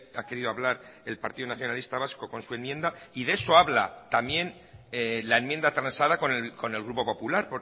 ha querido hablar el partido nacionalista vasco con su enmienda y de eso habla también la enmienda transada con el grupo popular